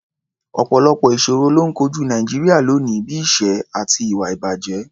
Ọ̀pọ̀lọpọ̀ ìṣòro ló ń kojú Nàìjíríà lónìí, bí i ìṣẹ́ àti ìwà-ìbàjẹ́.